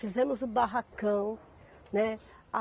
Fizemos o barracão, né.